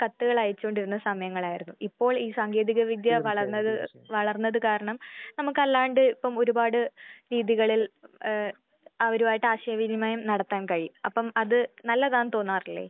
കത്തുകളയച്ചു കൊണ്ടിരുന്ന സമയമായിരുന്നു. ഇപ്പോൾ ഈ സാങ്കേതിക വിദ്യ തീർച്ചയായും വളർന്നത് വളർന്നത് കാരണം നമുക്ക് അല്ലാണ്ട് ഇപ്പം ഒരുപാട് രീതികളിൽ ഏഹ് അവരുമായിട്ട് ആശയ വിനിമയം നടത്താൻ കഴിയും. അപ്പം അത് നല്ലതാന്ന് തോന്നാറില്ലേ?